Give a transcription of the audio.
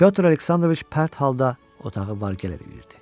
Pyotr Aleksandroviç pərt halda otağı var gəl edirdi.